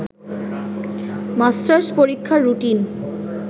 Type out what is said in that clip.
masters পরীক্ষার routine